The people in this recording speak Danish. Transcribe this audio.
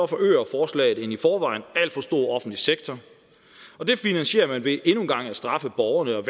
forøger forslaget en i forvejen alt for stor offentlig sektor og det finansierer man ved endnu en gang at straffe borgerne og